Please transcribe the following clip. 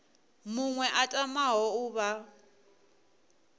muṅwe a tamaho u vha